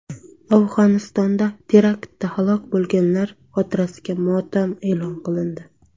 Afg‘onistonda teraktda halok bo‘lganlar xotirasiga motam e’lon qilindi.